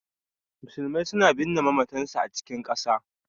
Musulmai suna binne mamatansu a cikin ƙasa.